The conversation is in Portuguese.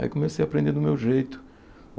Aí comecei a aprender do meu jeito.